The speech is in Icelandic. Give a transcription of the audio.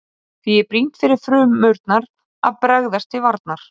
Því er brýnt fyrir frumurnar að bregðast til varnar.